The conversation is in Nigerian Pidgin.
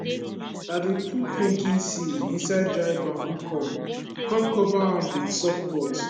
i dey put pumpkin seed inside dry bamboo cup cum cover am with soft cloth